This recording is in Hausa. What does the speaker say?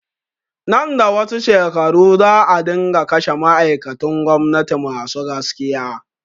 Nan da wasu shekaru za a dinga kashe ma'aikatun gwamnati masu gaskiya